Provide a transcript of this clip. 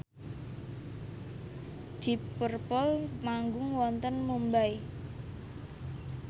deep purple manggung wonten Mumbai